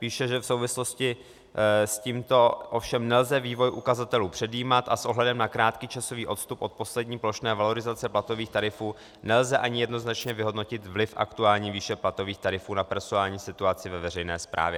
Píše, že v souvislosti s tímto ovšem nelze vývoj ukazatelů předjímat a s ohledem na krátký časový odstup od poslední plošné valorizace platových tarifů nelze ani jednoznačně vyhodnotit vliv aktuální výše platových tarifů na personální situaci ve veřejné správě.